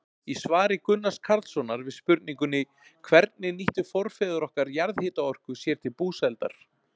Í svari Gunnars Karlssonar við spurningunni Hvernig nýttu forfeður okkar jarðhitaorku sér til búsældar?